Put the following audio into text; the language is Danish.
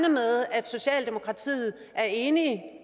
at socialdemokratiet er enige